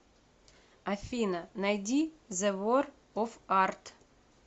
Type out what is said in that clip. афина найди зе вор оф арт